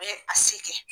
U bɛ a se kɛ